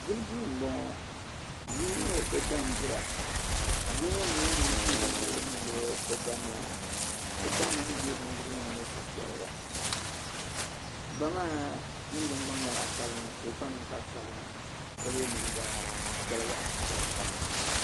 Dibbu duu m bɔŋɔ bia mini o ba dira bia ŋɔ n nyɛ ŋuni pii bindirigu niŋdi o ba noli ni o ba ŋuni deei bindirigu ŋɔ ni suhupiɛlli o ba maa ninvuɣ'gban nyɛla zaɣ'sabinli ka kpa ninkpari sabinli ka ye liiga chichɛra chichɛra.